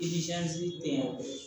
tɛ